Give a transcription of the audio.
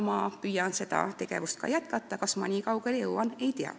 Ma püüan ka seda tegevust jätkata, aga kas ma nii kaugele jõuan, ei tea.